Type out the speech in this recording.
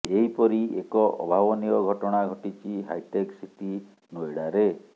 ଏହିପରି ଏକ ଅଭାବନୀୟ ଘଟଣା ଘଟିଛି ହାଇଟେକ୍ ସିଟି ନୋଏଡ଼ାରେ